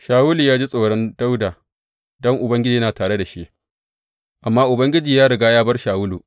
Shawulu ya ji tsoron Dawuda don Ubangiji yana tare da shi, amma Ubangiji ya riga ya bar Shawulu.